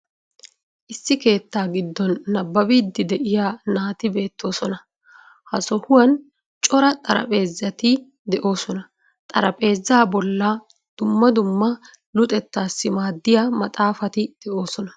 Issi keettaa giddon nabbabiidi de'iya naati beettoosona. Ha sohuwan cora xarapheezati de'oosona. Xaraphpheezaa bollan dumma dumma luxettassi maaddiya maxaafati de'oosona.